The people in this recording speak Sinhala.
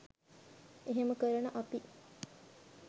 එහෙම කරන අපි